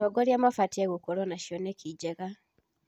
Atongoria mabatiĩ gũkorwo na cioneki njega.